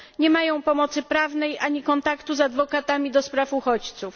Nie mają pomocy prawnej, ani kontaktu z prawnikami do spraw uchodźców.